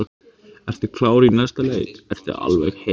Ertu klár í næsta leik, ertu alveg heill?